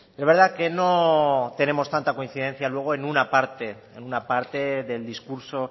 es verdad que no tenemos tanta coincidencia luego en una parte en una parte del discurso